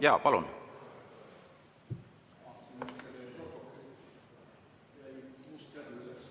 Jaa, palun!